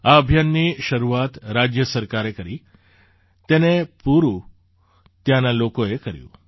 આ અભિયાનની શરૂઆત રાજ્ય સરકારે કરી તેને પૂરું ત્યાંના લોકોએ કર્યું